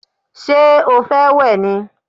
Ṣé o fẹ́ wẹ̀ ni?